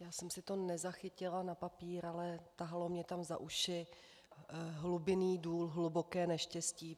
Já jsem si to nezachytila na papír, ale tahalo mě tam za uši hlubinný důl - hluboké neštěstí.